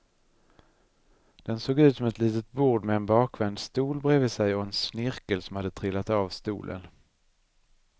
Den såg ut som ett litet bord med en bakvänd stol bredvid sig och en snirkel som hade trillat av stolen.